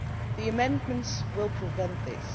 The amendments will prevent this